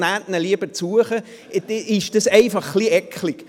nehmen Sie ihn lieber zu sich.», dann ist das einfach etwas eklig.